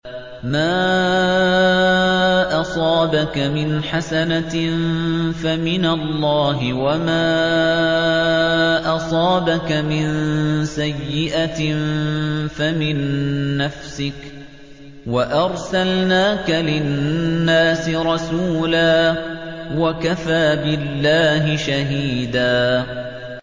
مَّا أَصَابَكَ مِنْ حَسَنَةٍ فَمِنَ اللَّهِ ۖ وَمَا أَصَابَكَ مِن سَيِّئَةٍ فَمِن نَّفْسِكَ ۚ وَأَرْسَلْنَاكَ لِلنَّاسِ رَسُولًا ۚ وَكَفَىٰ بِاللَّهِ شَهِيدًا